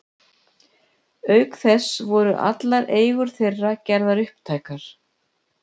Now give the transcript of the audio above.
Auk þess voru allar eigur þeirra gerðar upptækar.